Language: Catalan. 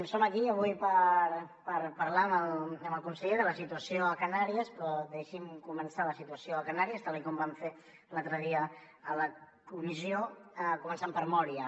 som aquí avui per parlar amb el conseller de la situació a canàries però deixi’m començar la situació a canàries tal com van fer l’altre dia a la comissió començant per mória